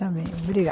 Está bem, obrigada.